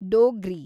Dogri